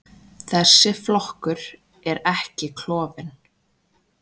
Þessi flokkur er ekki klofinn.